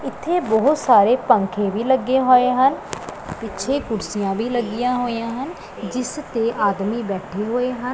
ਇੱਥੇ ਬਹੁਤ ਸਾਰੇ ਪੰਖੇ ਵੀ ਲੱਗੇ ਹੋਏ ਹਨ ਪਿੱਛੇ ਕੁਰਸੀਆਂ ਵੀ ਲੱਗੀਆਂ ਹੋਈਆਂ ਹਨ ਜਿਸ ਤੇ ਆਦਮੀ ਬੈਠੇ ਹੋਏ ਹਨ।